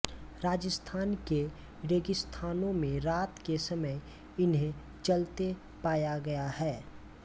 राजस्थान के रेगिस्तानों में रात के समय इन्हें चलते पाया गया है